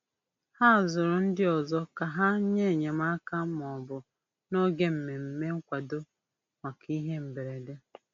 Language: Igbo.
Ha zụrụ ndị ọzọ ka ha nye enyemaka mbụ n'oge mmemme nkwado maka ihe mberede.